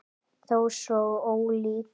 Þó svo ólík.